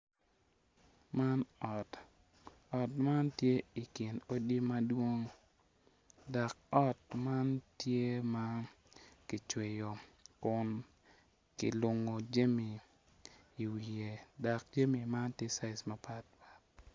Man ot ot man tye i kin odi madwong dok ot ma tye ma kicweyo kun kilungo jami dok jami man tye caji mapatpat.